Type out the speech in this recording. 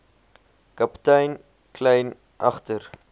kaptein kleyn agter